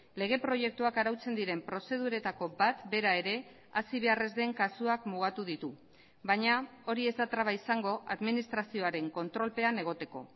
lege proiektuak arautzen diren prozeduretako bat bera ere hasi behar ez den kasuak mugatu ditu baina hori ez da traba izango administrazioaren kontrolpean egoteko